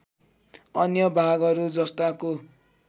अन्य भागहरू जस्ताको